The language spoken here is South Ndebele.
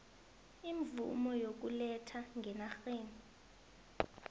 imvumo yokuletha ngenarheni